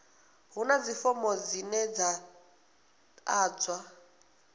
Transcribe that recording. huna fomo dzine dza ḓadzwa